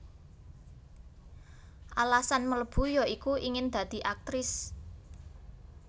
Alasan mlebu ya iku ingin dadi Aktris